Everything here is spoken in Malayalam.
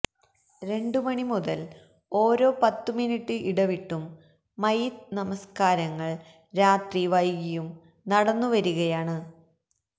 രണ്ടുമണി മുതൽ ഓരോ പത്തുമിനിട്ട് ഇടവിട്ടും മയ്യിത്ത് നമസ്കാരങ്ങൾ രാത്രി വൈകിയും നടന്നുവരികയാണ്